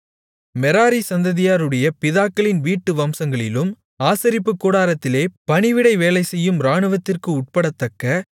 Merari சந்ததியாருடைய பிதாக்களின் வீட்டு வம்சங்களிலும் ஆசரிப்புக் கூடாரத்திலே பணிவிடை வேலைசெய்யும் இராணுவத்திற்கு உட்படத்தக்க